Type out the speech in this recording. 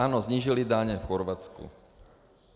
Ano, snížili daně v Chorvatsku.